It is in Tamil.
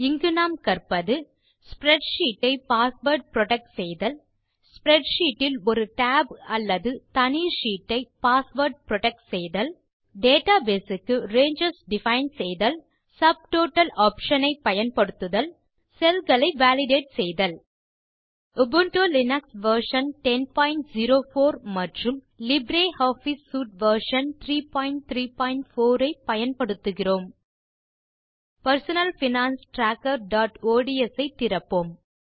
இங்கு நாம் கற்பது ஸ்ப்ரெட்ஷீட் ஐ பாஸ்வேர்ட் புரொடெக்ட் செய்தல் ஸ்ப்ரெட்ஷீட் இல் ஒரு டேப் அல்லது தனி ஷீட்டை ஐ பாஸ்வேர்ட் புரொடெக்ட் செய்தல் டேட்டாபேஸ் க்கு ரேஞ்சஸ் டிஃபைன் செய்தல் சப்டோட்டல் ஆப்ஷன் ஐ பயன்படுத்துதல் செல் களை வாலிடேட் செய்தல் உபுண்டு லினக்ஸ் வெர்ஷன் 1004 மற்றும் லிப்ரியாஃபிஸ் சூட் வெர்ஷன் 334 ஐ பயன்படுத்துகிறோம் personal finance trackerஒட்ஸ் ஐ திறப்போம்